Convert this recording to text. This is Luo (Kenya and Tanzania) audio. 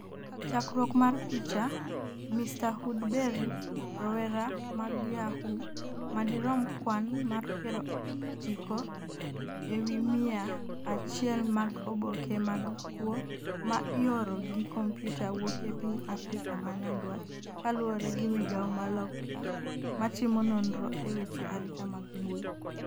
chakruok mar picha, mrwoodbery 'rowera mag yahoo' madirom kwan mar piero chiko e wi miya achiel mag oboke mag kuwo ma ioro gi kompyuta wuok e piny Afrika ma nyandwat kaluwore gi migawo ma Loka matimo nonro e weche arita mag mbui